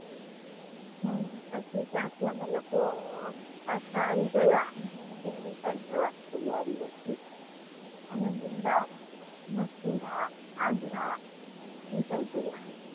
હમ પછી થી ત્યાં અમે લોકો પાછા આવી ગયા ને દિલ્લી side જવાની તૈયારી હતી અમે વૃંદાવન મથુરા આગ્રા એ side ગયા હતા